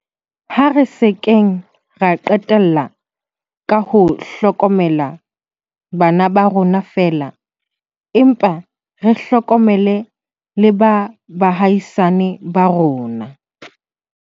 Ha re se keng ra qetella ka ho hlokomela bana ba rona feela, empa re hlokomele le ba baahisani ba rona.